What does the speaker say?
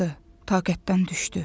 Taqətdən düşdü.